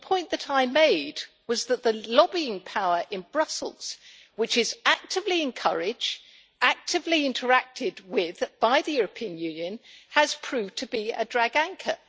The point that I made was that the lobbying power in Brussels, which is actively encourage, actively interacted with by the European Union, has proved to be a drag anchor.